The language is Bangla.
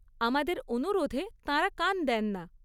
আমাদের অনুরোধে তাঁরা কান দেন না।